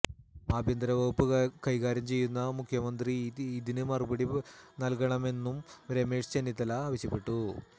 ആഭ്യന്തര വകുപ്പ് കൈകാര്യം ചെയ്യുന്ന മുഖ്യമന്ത്രി ഇതിന് മറുപടി നല്കണമെന്നും രമേശ് ചെന്നിത്തല ആവശ്യപ്പെട്ടു